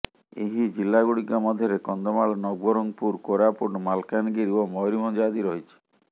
ଏହି ଜିଲ୍ଲାଗୁଡ଼ିକ ମଧ୍ୟରେ କନ୍ଧମାଳ ନବରଙ୍ଗପୁର କୋରାପୁଟ ମାଲାକାନଗିରି ଓ ମୟୁରଭଞ୍ଜ ଆଦି ରହିଛି